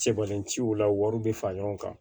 Sebenintila wari bɛ fara ɲɔgɔn kan